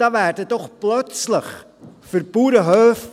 Da werden doch plötzlich für Bauernhöfe,